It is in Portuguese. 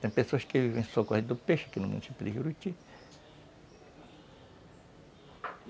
Tem pessoas que vêm socorrer do peixe